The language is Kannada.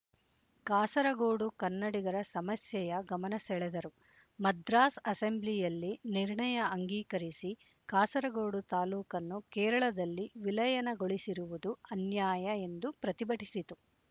ಕಾಸರಗೋಡು ಕನ್ನಡಿಗರ ಸಮಸ್ಯೆಯ ಗಮನಸೆಳೆದರು ಮದ್ರಾಸ್ ಅಸೆಂಬ್ಲಿಯಲ್ಲಿ ನಿರ್ಣಯ ಅಂಗೀಕರಿಸಿ ಕಾಸರಗೋಡು ತಾಲೂಕನ್ನು ಕೇರಳದಲ್ಲಿ ವಿಲಯನಗೊಳಿಸಿರುವುದು ಅನ್ಯಾಯ ಎಂದು ಪ್ರತಿಭಟಿಸಿತು